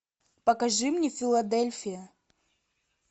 покажи мне филадельфия